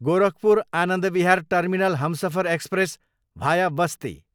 Gorakhpur, Anand Vihar terminal Humsafar express, भाया बस्ती